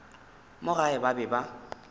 mo gae ba be ba